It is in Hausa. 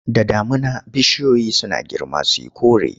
Da damuna bishiyoyi suna girma su yi kore.